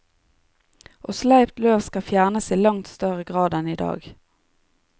Og sleipt løv skal fjernes i langt større grad enn i dag.